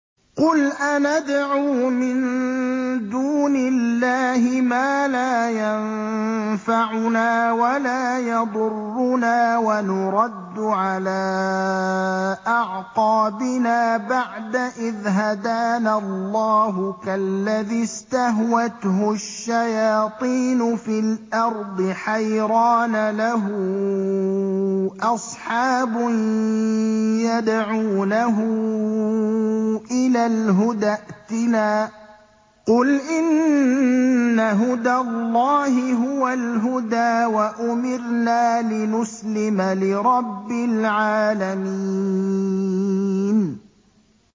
قُلْ أَنَدْعُو مِن دُونِ اللَّهِ مَا لَا يَنفَعُنَا وَلَا يَضُرُّنَا وَنُرَدُّ عَلَىٰ أَعْقَابِنَا بَعْدَ إِذْ هَدَانَا اللَّهُ كَالَّذِي اسْتَهْوَتْهُ الشَّيَاطِينُ فِي الْأَرْضِ حَيْرَانَ لَهُ أَصْحَابٌ يَدْعُونَهُ إِلَى الْهُدَى ائْتِنَا ۗ قُلْ إِنَّ هُدَى اللَّهِ هُوَ الْهُدَىٰ ۖ وَأُمِرْنَا لِنُسْلِمَ لِرَبِّ الْعَالَمِينَ